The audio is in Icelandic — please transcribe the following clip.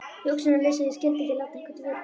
Hugsunarleysi að ég skyldi ekki láta einhvern vita.